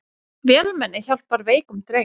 Vélmenni hjálpar veikum dreng